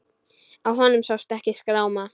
Á honum sást ekki skráma.